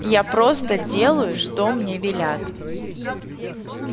я просто делаю что мне велят